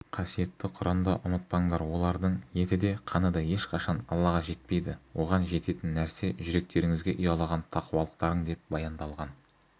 қасиетті құранда ұмытпаңдар олардың еті де қаны да ешқашан аллаға жетпейді оған жететін нәрсе жүректеріңізге ұялаған тақуалықтарың деп баяндалған